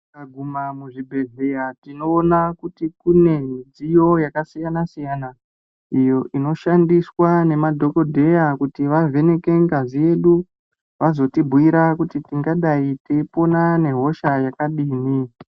Tikaguma muzvipezeya tinoona kuti kune midziyo yakasiyana-siyana iyo inoshandiswa nemaDhokodheya kuti vavheneke ngazi yedu vazotibhuira kuti tingadai teipona nehosha yakadini.